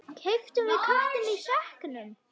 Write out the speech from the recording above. Keyptum við köttinn í sekknum?